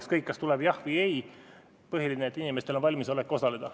Ükskõik, kas tuleb jah või ei, põhiline on, et inimestel on valmisolek osaleda.